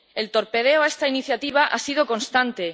El torpedeo a esta iniciativa ha sido constante.